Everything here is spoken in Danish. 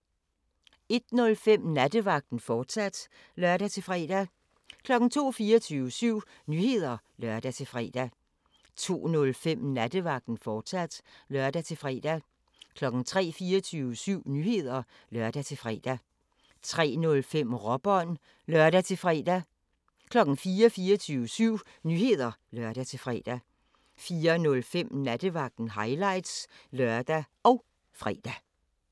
01:05: Nattevagten, fortsat (lør-fre) 02:00: 24syv Nyheder (lør-fre) 02:05: Nattevagten, fortsat (lør-fre) 03:00: 24syv Nyheder (lør-fre) 03:05: Råbånd (lør-fre) 04:00: 24syv Nyheder (lør-fre) 04:05: Nattevagten – highlights (lør og fre)